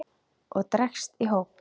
og dregst í hóp